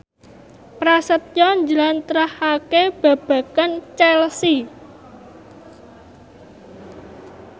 Prasetyo njlentrehake babagan Chelsea